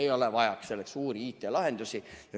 Ei ole vaja selleks suuri IT‑lahendusi.